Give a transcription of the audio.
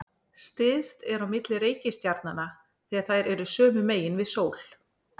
Styst er á milli reikistjarnanna þegar þær eru sömu megin við sól.